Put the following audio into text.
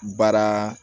Baara